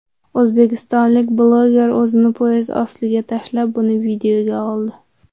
O‘zbekistonlik bloger o‘zini poyezd ostiga tashlab, buni videoga oldi.